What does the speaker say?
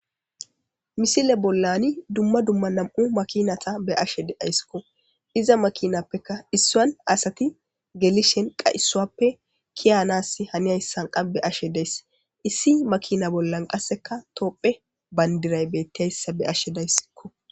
misile bollani dumma dumma nam7u makinata be ashe deayskko iza makinappeka issuan asati gelishen qayisuappe kiyanas hani ayssan qabbe ashe dayss issi makina bollan qasseka toopphe bandiray bettiayssa be ashe daysikko